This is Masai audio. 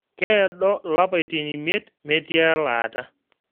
Keedo lapaitin imiet metii elaata